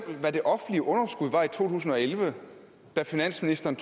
hvad det offentlige underskud var i to tusind og elleve da finansministeren